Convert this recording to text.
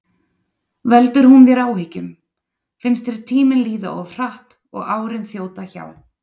Veldur hún þér áhyggjum, finnst þér tíminn líða of hratt og árin þjóta hjá?